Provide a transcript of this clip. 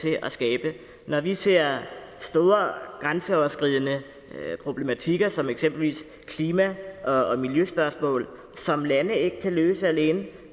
til at skabe når vi ser store grænseoverskridende problematikker som eksempelvis klima og miljøspørgsmål som lande ikke kan løse alene